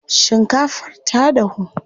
Shinkafar ta dahu.